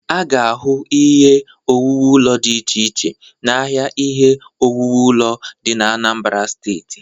A ga-ahụ ihe owuwu ụlo dị ịche iche ahịa ihe owuwu ụlo dị Anambara Steeti.